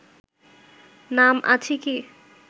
নাম আছে কি?